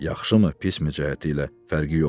Yaxşımı, pismi cəhəti ilə, fərqi yoxdur.